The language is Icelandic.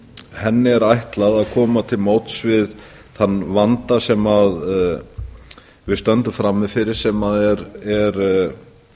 þingsályktunartillögunni er ætlað að koma til móts við þann vanda sem við stöndum frammi fyrir sem er